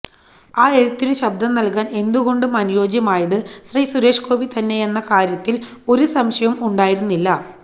ആ എഴുത്തിനു ശബ്ദം നല്കാന് എന്തുകൊണ്ടും അനുയോജ്യമായത് ശ്രീ സുരേഷ് ഗോപി തന്നെയെന്ന കാര്യത്തില് ഒരു സംശയവും ഉണ്ടായിരുന്നില്ല